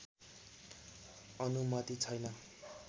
अनुमति छैन